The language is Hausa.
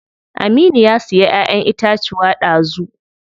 Aminu ya siya ƴaƴen itacuwa dazu.